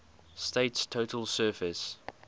state's total surface